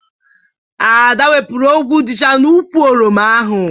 Ada wepụrụ ogwu dịcha n'ukwụ oroma ahụ.